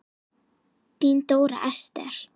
Þín Dóra Esther.